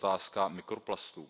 i otázka mikroplastů.